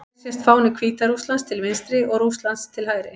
Hér sést fáni Hvíta-Rússlands til vinstri og Rússlands til hægri.